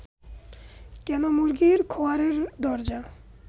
কেন মুরগির খোঁয়ারের দরজা